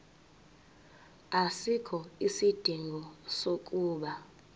asikho isidingo sokuba